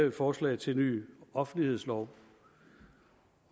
et forslag til ny offentlighedslov